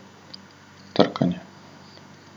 Trkanje.